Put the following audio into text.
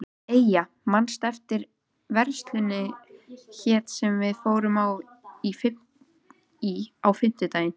Eyja, manstu hvað verslunin hét sem við fórum í á fimmtudaginn?